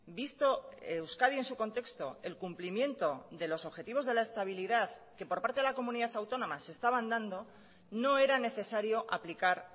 visto euskadi en su contexto el cumplimiento de los objetivos de la estabilidad que por parte de la comunidad autónoma se estaban dando no era necesario aplicar